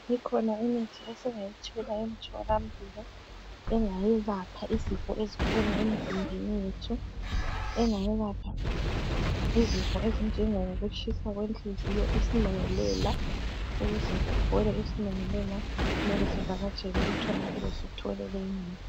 Ikhona imithi esingayithola emtholampilo ,engayelapha izifo ezikhona emzimbeni yethu .Engayelapha izifo ezinjengo kutshisa kwenhliziyo isilungulela .Ukuze kuphole isilungulela kumele sivakatshele emtholampilo sithole leyi mithi .